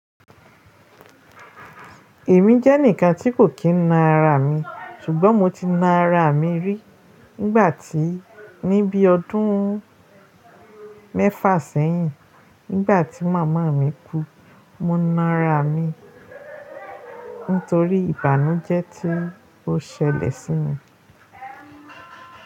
Èmi jẹ́ ẹnìkan tí kò kí ń na ara mi, ṣùgbọ́n mo ti na ara mi rí nígbà tí, ní bí ọdún mẹ́fà sẹ́yìn, nígbà tí màmá mi kú, mo na ara mi nítorí ìbànújẹ́ tí ó ṣẹlẹ̀ sí mi.